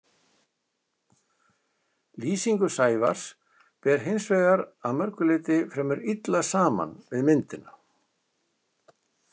Lýsingu Sævars ber hins vegar að mörgu leyti fremur illa saman við myndina.